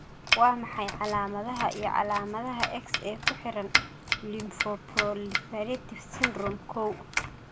Waa maxay calaamadaha iyo calaamadaha X ee ku xidhan lymfoproliferative syndrome kow?